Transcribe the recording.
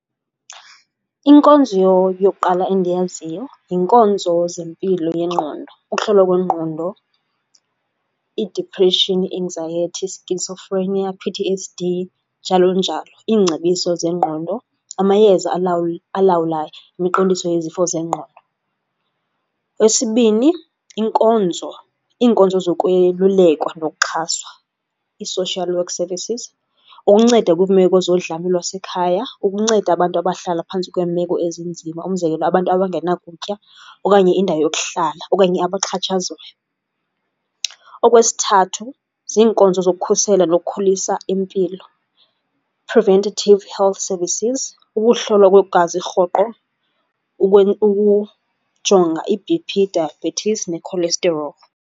Inkonzo yokuqala endiyaziyo yinkonzo zempilo yengqondo, ukuhlolwa kwengqondo i-depression, anxiety, schizophrenia, P_T_S_D njalo njalo. Iingcebiso zengqondo, amayeza alawula imiqondiso yezifo zengqondo. Eyesibini, inkonzo, iinkonzo zokwelulekwa nokuxhaswa ii-social work services ukunceda kwiimeko zodlame lwasekhaya, ukunceda abantu abahlala phantsi kweemeko ezinzima umzekelo abantu abangena kutya okanye indawo yokuhlala okanye abaxhatshazwayo. Okwesithathu, ziinkonzo zokukhusela nokukhulisa impilo, preventative health services, ukuhlolwa kwegazi rhoqo ukujonga i-B_P, diabetes ne-cholesterol.